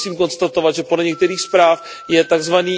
Musím konstatovat, že podle některých zpráv je tzv.